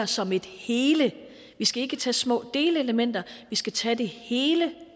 som et hele vi skal ikke tage små delelementer vi skal tage det hele